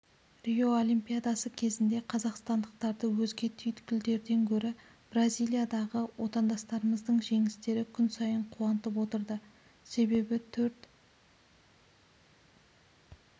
рио олимпиадасы кезінде қазақстандықтарды өзге түйткілдерден гөрі бразилиядағы отандастарымыздың жеңістері күн сайын қуантып отырды себебі төрт